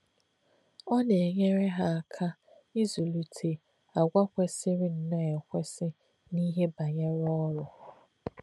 Ọ́ nā̄-ènyèrè̄ hà̄ ákà̄ ị̀zụ́lìtè̄ àgwà̄ kwèsị̀rị̀ nnọọ èkwèsị̀ n’íhè̄ bá̄nyèrè̄ ọ́rụ́.